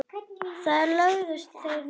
Þar lögðust þeir niður.